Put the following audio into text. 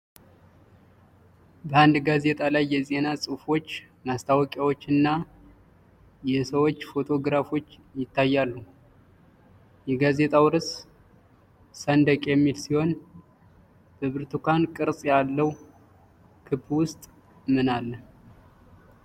በአንድ ጋዜጣ ላይ የዜና ጽሑፎች፣ ማስታወቂያዎችና የሰዎች ፎቶግራፎች ይታያሉ። የጋዜጣው ርዕስ "ሰንደቅ" የሚል ሲሆን በብርቱካን ቅርጽ ባለው ክብ ውስጥ ምን አለ?